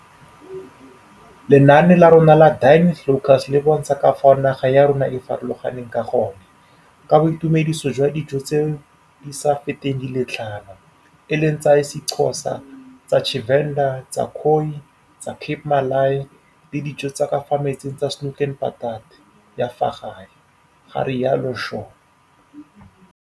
Lenaane la rona la Dine with Locals le bontsha ka fao naga ya rona e farologaneng ka gone, ka boitumediso jwa dijo tsa ditso tse di sa feteng di le tlhano, e leng tsa isiXho sa, tsa Tshivenḓa, tsa Khoi, tsa Cape Malay le dijo tsa ka fa metsing tsa 'Snoek en Patat' ya fa gae, ga rialo Shaw.